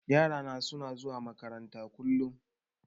Yarana suna zuwa makaranta kullum.